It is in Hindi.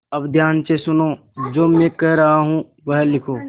अब ध्यान से सुनो जो मैं कह रहा हूँ वह लिखो